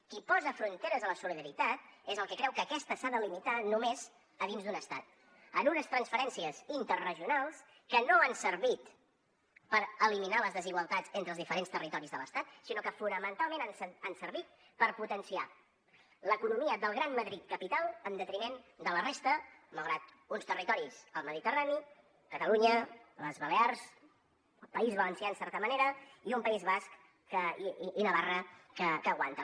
qui posa fronteres a la solidaritat és el que creu que aquesta s’ha de limitar només a dins d’un estat en unes transferències interregionals que no han servit per eliminar les desigualtats entre els diferents territoris de l’estat sinó que fonamentalment han servit per potenciar l’economia del gran madrid capital en detriment de la resta malgrat uns territoris al mediterrani catalunya les balears el país valencià en certa manera i un país basc i navarra que aguanten